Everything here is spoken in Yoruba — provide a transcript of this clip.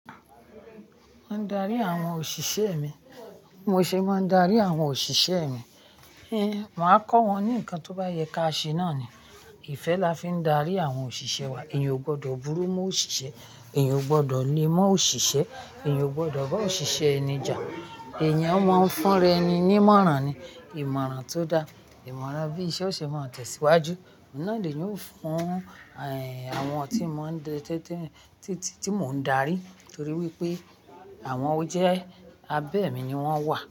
Mo ń darí àwọn òṣìṣẹ́ mi. Mo ṣe máa ń darí àwọn òṣìṣẹ́ mi. Héén, màá kọ́ wọn ní ǹkan tó bá yẹ ká ṣe náà ni. Ìfẹ́ la fi ń darí àwọn òṣìṣẹ́ wa. Èèyàn ò gbọdọ̀ burú mọ́ òṣìṣẹ́, èèyàn ò gbọdọ̀ lé mọ́ òṣìṣẹ́, èèyàn ò gbọdọ̀ bá òṣìṣẹ́ é ni jà. Èèyàn a máa ń fún ẹni ní ìmọ̀ràn ni. Ìmọ̀ràn tó dáa, ìmọ̀ràn bí iṣẹ́ òṣìṣẹ́ máa ń tẹ̀síwájú. Oùn na ni eniyan ó fún, éèh, àwọn tí mo ń darí torí wípé àwọn ọjẹ abẹ́ mi ni wón wà.